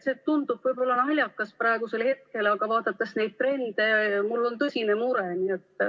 See tundub võib-olla naljakas praegusel hetkel, aga vaadates neid trende, mul on tõsine mure.